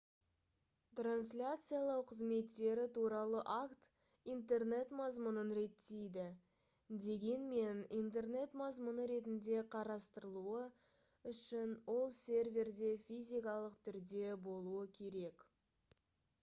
трансляциялау қызметтері туралы акт интернет мазмұнын реттейді дегенмен интернет мазмұны ретінде қарастырылуы үішн ол серверде физикалық түрде болуы керек